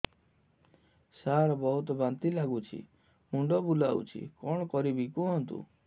ସାର ବହୁତ ବାନ୍ତି ଲାଗୁଛି ମୁଣ୍ଡ ବୁଲୋଉଛି କଣ କରିବି କୁହନ୍ତୁ